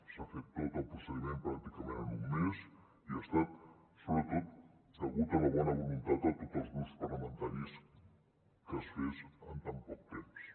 s’ha fet tot el procediment pràcticament en un mes i ha estat sobretot degut a la bona voluntat de tots els grups parlamentaris que es fes en tan poc temps